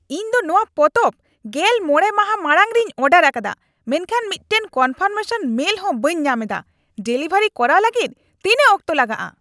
ᱤᱧ ᱫᱚ ᱱᱚᱶᱟ ᱯᱚᱛᱚᱵ ᱜᱮᱞ ᱢᱚᱬᱮ ᱢᱟᱦᱟ ᱢᱟᱲᱟᱝ ᱨᱮᱧ ᱚᱰᱟᱨ ᱟᱠᱟᱫᱟ, ᱢᱮᱱᱠᱷᱟᱱ ᱢᱤᱫᱴᱟᱝ ᱠᱚᱱᱯᱷᱟᱨᱢᱮᱥᱚᱱ ᱢᱮᱞ ᱦᱚᱸ ᱵᱟᱹᱧ ᱧᱟᱢ ᱮᱫᱟ ᱾ ᱰᱮᱞᱤᱵᱷᱟᱨ ᱠᱚᱨᱟᱣ ᱞᱟᱹᱜᱤᱫ ᱛᱤᱱᱟᱹᱜ ᱚᱠᱛᱚ ᱞᱟᱜᱟᱜᱼᱟ ?